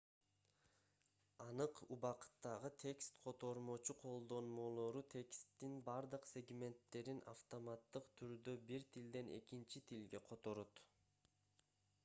анык убакыттагы текст котормочу колдонмолору тексттин бардык сегменттерин автоматтык түрдө бир тилден экинчи тилге которот